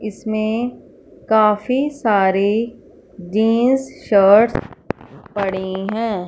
इसमें काफी सारे जींस शर्ट्स पड़े हैं।